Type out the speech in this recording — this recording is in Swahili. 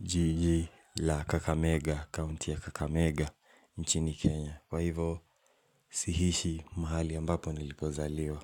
jiji la kakamega county ya kakamega nchini Kenya. Kwa hivo Sihishi mahali ambapo nilipozaliwa.